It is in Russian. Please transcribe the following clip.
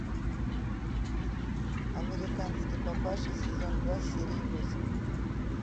американский папаша сезон два серия восемь